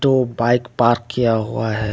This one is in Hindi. दो बाइक पार्क किया हुआ है।